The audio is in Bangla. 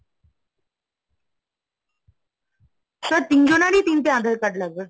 sir তিনজনেরই তিনটে আধার card লাগবে।